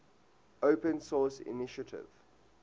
open source initiative